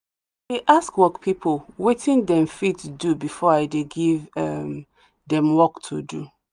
dey ask work people watin them fit do befor i de give um them work to do